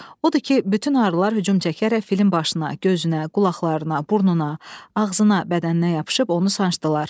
Odur ki, bütün arılar hücum çəkərək filin başına, gözünə, qulaqlarına, burnuna, ağzına, bədəninə yapışıb onu sancdılar.